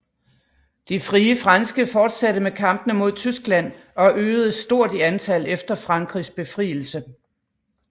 De Frie Franske fortsatte med kampene mod Tyskland og øgedes stort i antal efter Frankrigs befrielse